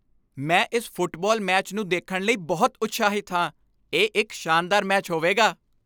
ਮੈਂ ਇਸ football match ਨੂੰ ਦੇਖਣ ਲਈ ਬਹੁਤ ਉਤਸ਼ਾਹਿਤ ਹਾਂ! ਇਹ ਇੱਕ ਸ਼ਾਨਦਾਰ ਮੈਚ ਹੋਵੇਗਾ।